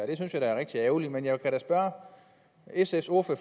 det synes jeg er rigtig ærgerligt men jeg kan da spørge sfs ordfører